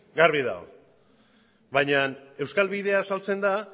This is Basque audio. garbi dago baina euskal bidea azaltzen da